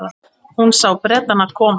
Hún sá Bretana koma.